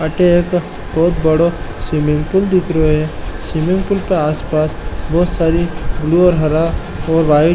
अठे एक बोहोत बड़ो स्विमिंग पूल दिख रियो है स्विमिंग पूल के आसपास बोहोत सारी ब्लू और हरा और वाइट --